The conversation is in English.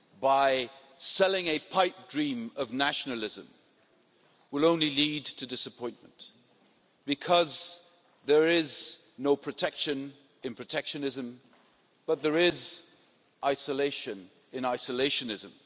by selling a pipe dream of nationalism will only lead to disappointment because there is no protection in protectionism, but there is isolation in isolationism.